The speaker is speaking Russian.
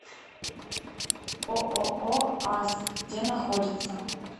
ооо аск где находится